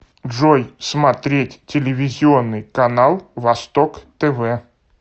джой смотреть телевизионный канал восток тв